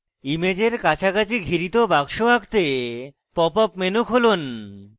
ইমেজের কাছাকাছি ঘিরিত box আঁকতে pop up menu খুলুন